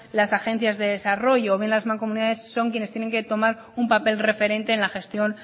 las agencias de desarrollo bien las mancomunidades son quienes tienen que tomar un papel referente en la gestión